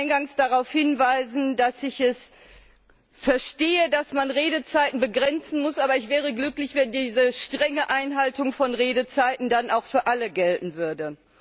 Ich will eingangs darauf hinweisen, dass ich es verstehe, dass man Redezeiten begrenzen muss. Aber ich wäre glücklich, wenn diese strenge Einhaltung von Redezeiten dann auch für alle gelten würde.